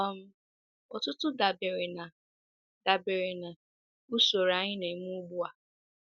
um Ọtụtụ dabere na dabere na usoro anyị na-eme ugbu a.